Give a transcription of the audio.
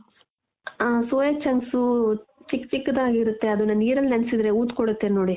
ಆ soya chunks ಚಿಕ್ಕ್ ಚಿಕ್ಕದಾಗಿರುತ್ತೆ ಅದನ್ನ ನೀರಲ್ಲಿ ನೆನ್ಸಿದ್ರೆ ಊದ್ಕೊಳ್ಳುತ್ತೇ ನೋಡಿ.